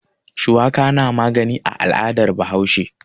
Shuwaka na magani a al'adar Bahaushe.